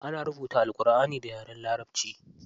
An rubuta Alƙurʼani da yaren larabaci.